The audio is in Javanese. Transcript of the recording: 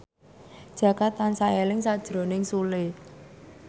Jaka tansah eling sakjroning Sule